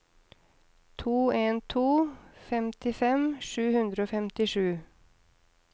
to en to to femtifem sju hundre og femtisju